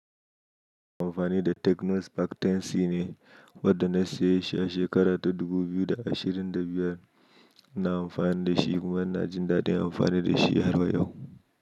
Amfani da Techno Spark 10C ne wanda na saye shi a shekara ta dubu biyu da ashirin da biyar, na amfani da shi kuma ina jin daɗin amfani da shi har wa yau.